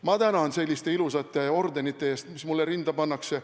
Ma tänan selliste ilusate ordenite eest, mis mulle rinda pannakse.